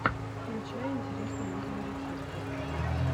включай интересные видеорецепты